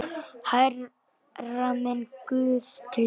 Hærra, minn guð, til þín.